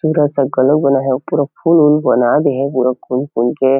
थोड़ा सा कलर बना है पूरा फूल वुल बना दिए हे पूरा खुल-खुल के--